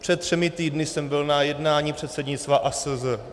Před třemi týdny jsem byl na jednání předsednictva ASZ.